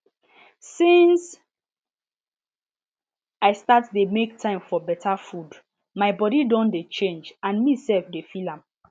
since i start dey make time for better food my body don dey change and me self dey feel am